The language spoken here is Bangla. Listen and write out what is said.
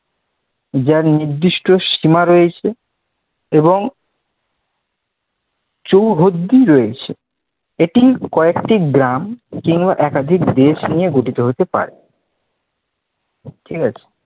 যার নির্দৃষ্ট সীমা রয়েছে এবং চৌহদ্দি রয়েছে। এটি কয়েকটি গ্রাম কিংবা একাধিক দেশ নিয়ে গঠিত হতে পারে। ঠিক আছে?